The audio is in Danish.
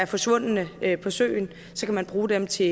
forsvundne på søen så kan man bruge dem til